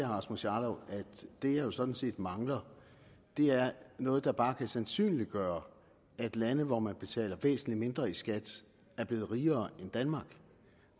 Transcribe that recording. rasmus jarlov at det jeg jo sådan set mangler er noget der bare kan sandsynliggøre at lande hvor man betaler væsentligt mindre i skat er blevet rigere end danmark